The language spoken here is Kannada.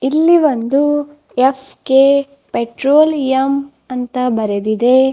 ಇಲ್ಲಿ ಒಂದು ಎಫ್_ಕೆ ಪೆಟ್ರೋಲಿಯಂ ಅಂತ ಬರೆದಿದೆ.